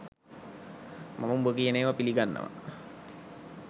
මම උඹ කියන ඒව පිලිගන්නව.